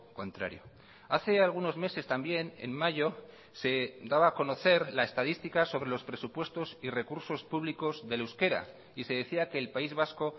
contrario hace algunos meses también en mayo se daba a conocer la estadística sobre los presupuestos y recursos públicos del euskera y se decía que el país vasco